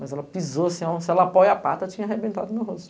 Mas ela pisou, se ela apoia a pata, tinha arrebentado meu rosto.